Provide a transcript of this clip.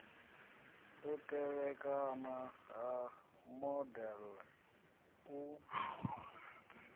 u tevhekana ha modele u